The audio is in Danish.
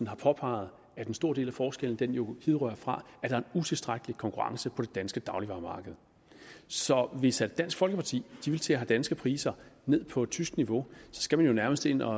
har påpeget at en stor del af forskellen jo hidrører fra at der er en utilstrækkelig konkurrence på det danske dagligvaremarked så hvis dansk folkeparti vil til at have danske priser ned på tysk niveau skal man jo nærmest ind at